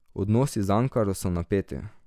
Odnosi z Ankaro so napeti.